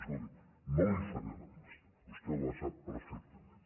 escolti no li faré la llista vostè la sap perfectament